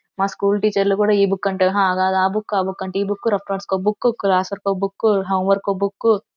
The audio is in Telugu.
మా స్కూల్ టీచర్ లు కూడా ఇ బుక్ హ కాదు ఆ బుక్ ఆ బుక్ అంటే ఇ బుక్ రఫ్ నోట్స్ కో బుక్ క్లాస్ వర్క్ కో బుక్ హోమ్ వర్క్ కో బుక్ --